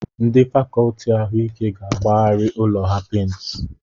Ndị fàkọọtị ahụike ga-agbagharị ụlọ ha pèintị